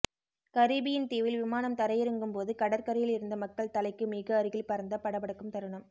Caribbean தீவில் விமானம் தரையிறங்கும் போது கடற்கரையில் இருந்த மக்கள் தலைக்கு மிக அருகில் பறந்த படப்படக்கும் தருணம்